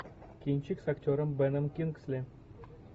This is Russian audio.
кинчик с актером беном кингсли